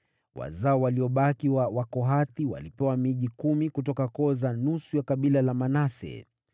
Wazao waliobaki wa Wakohathi walipewa miji kumi kutoka koo za nusu ya kabila la Manase.